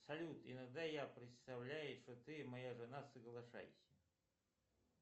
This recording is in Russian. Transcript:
салют иногда я представляю что ты моя жена соглашайся